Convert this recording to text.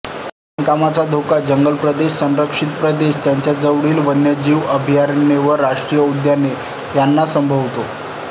खाणकामाचा धोका जंगलप्रदेश संरक्षित प्रदेश त्यांजवळील वन्यजीव अभयारण्ये व् राष्ट्रीय उद्याने यांना संभवतो